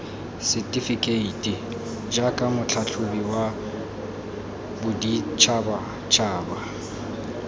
setefekeiti jaaka motlhatlhobi wa boditšhabatšhaba